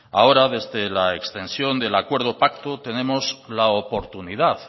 ahora desde la extensión del acuerdo pacto tenemos la oportunidad